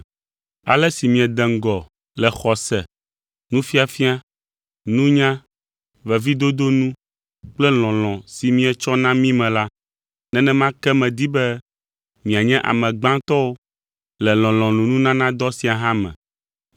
Ale si miede ŋgɔ le xɔse, nufiafia, nunya, veviedodo nu kple lɔlɔ̃ si mietsɔ na mí me la, nenema ke medi be mianye ame gbãtɔwo le lɔlɔ̃nunanadɔ sia hã me.